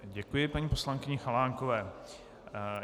Děkuji paní poslankyni Chalánkové.